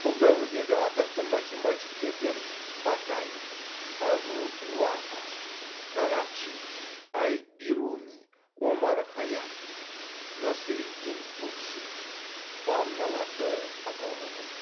бұл дәуірдегі атақты математиктерден батани әбу уафа карачи әл бируни омар хайям насыреддин туси банналарды атауға болады